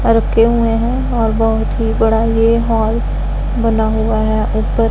रखे हुए हैं और बहोत ही बड़ा ये हॉल बना हुआ है ऊपर--